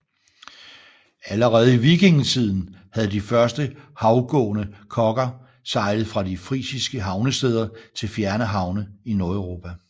Allerede i vikingetiden havde de første havgående kogger sejlet fra de frisiske havnesteder til fjerne havne i Nordeuropa